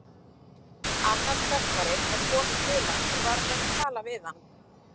Annar stökkvari var kominn til hans og var að reyna að tala við hann.